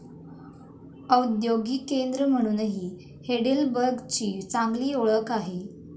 औद्योगिक केंद्र म्हणूनही हेडेलबर्गची चांगली ओळख आहे.